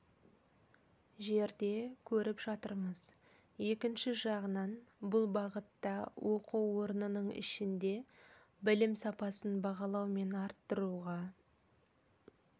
жерде көріп жатырмыз екінші жағынан бұл бағытта оқу орнының ішінде білім сапасын бағалау мен арттыруға